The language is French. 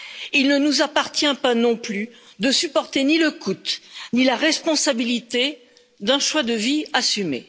Il ne nous appartient pas non plus de supporter ni le coût, ni la responsabilité d'un choix de vie assumé.